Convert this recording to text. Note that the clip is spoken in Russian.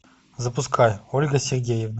запускай ольга сергеевна